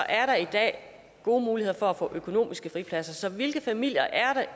er der i dag gode muligheder for at få økonomiske fripladser så hvilke familier er